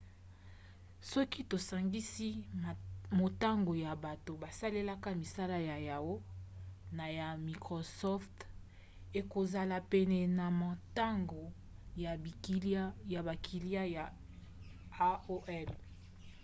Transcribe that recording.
soki tosangisi motango ya bato basalelaka misala ya yahoo! na ya microsoft ekozala pene na motango ya bakiliya ya aol